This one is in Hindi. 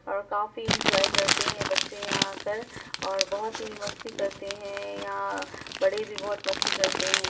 और काफी एन्जॉय करते हैं बच्चे यहाँ आ कर और बहुत ही मस्ती करते है यहाँ बड़े भी बहुत मस्ती करते हैं।